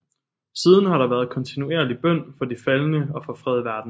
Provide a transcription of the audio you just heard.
Siden har der været kontinuerlig bøn for de faldne og for fred i verden